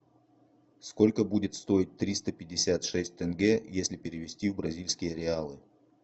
сколько будет стоить триста пятьдесят шесть тенге если перевести в бразильские реалы